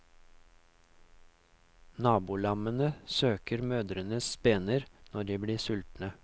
Nabolammene søker mødrenes spener når de blir sultne.